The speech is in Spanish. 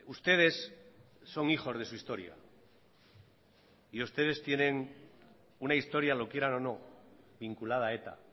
ustedes son hijos de su historia y ustedes tienen una historia lo quieran o no vinculada a eta